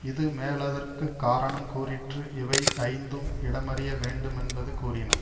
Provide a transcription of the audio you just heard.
இது மேலதற்கு காரணங் கூறிற்று இவை யைந்தும் இடமறியவேண்டு மென்பது கூறின